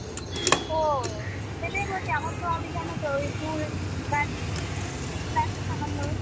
ও সেটাই বলছি আমার তো hobby জানোতো ঐ ফুল but আছে সামান্য